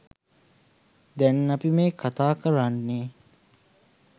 දැන් අපි මේ කතා කරන්නෙ